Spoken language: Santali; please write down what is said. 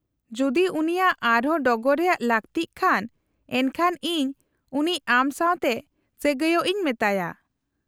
-ᱡᱩᱫᱤ ᱩᱱᱤᱭᱟᱜ ᱟᱨ ᱦᱚᱸ ᱰᱚᱜᱚᱨ ᱨᱮᱭᱟᱜ ᱞᱟᱹᱠᱛᱤᱜ ᱠᱷᱟᱱ , ᱮᱱᱠᱷᱟᱱ ᱤᱧ ᱩᱱᱤ ᱟᱢ ᱥᱟᱶᱛᱮ ᱥᱟᱹᱜᱟᱹᱭᱚᱜ ᱤᱧ ᱢᱮᱛᱟᱭᱟ ᱾